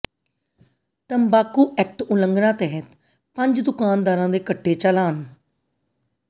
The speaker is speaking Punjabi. ਤੰਬਾਕੂ ਐਕਟ ਉਲੰਘਣਾ ਤਹਿਤ ਪੰਜ ਦੁਕਾਨਾਦਾਰਾਂ ਦੇ ਕੱਟੇ ਚਾਲਾਨ